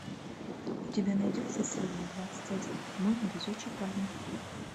у тебя найдется серия двадцать один мой невезучий парень